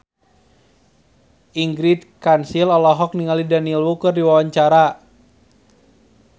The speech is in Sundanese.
Ingrid Kansil olohok ningali Daniel Wu keur diwawancara